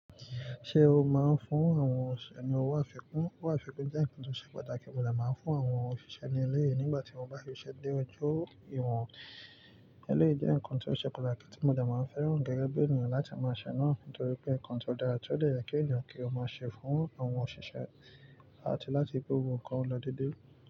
Ṣé o máa ń fún àwọn òṣìṣẹ́ ní owó àfikún? Owó àfikún jẹ́ nǹkan tó ṣe pàtàkì, mo dà máa ń fún àwọn òṣìṣẹ́ ní ilé yìí nígbà tí mo bá rí i ṣe dé ojú ìwọ̀n. Eléyìí jẹ́ nǹkan tó ṣe pàtàkì tí mo dà máa ń fẹ́ràn gẹ́gẹ́ bí ènìyàn láti máa ṣe náà torí pé nǹkan tó dára, kí ó dà yà kí ènìyàn kí ó máa ṣe fún àwọn òṣìṣẹ́ áti lati pe gbogbo nkan lọ dédé.